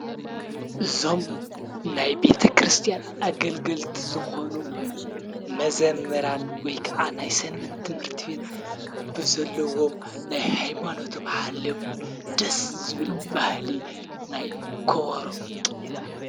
ዞም ናይ ቤተ ክርስቲያን ኣገልገልቲ ዝኾኑ መዘመራን ወይ ከዓ ናይ ሠንበት ትምህርቲ ቤት ብዘለዎም ናይ ኃይማኖቶም ሓልዮምት ደስ ዝብል ባህሊ ናይ ኮበሮ፣ ቅኔ።